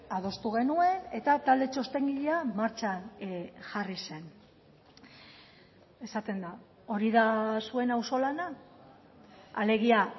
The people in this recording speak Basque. adostu genuen eta talde txostengilea martxan jarri zen esaten da hori da zuen auzolana alegia